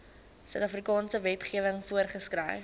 suidafrikaanse wetgewing voorgeskryf